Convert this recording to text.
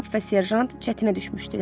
Kap və serjant çətinə düşmüşdülər.